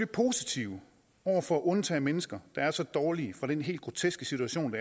positive over for at undtage mennesker der er så dårlige fra den helt groteske situation